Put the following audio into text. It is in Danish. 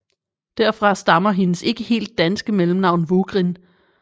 Derfra stammer hendes ikke helt danske mellemnavn Vugrin